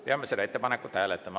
Peame seda ettepanekut hääletama.